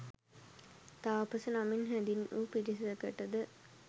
තාපස නමින් හැඳින් වු පිරිසකටද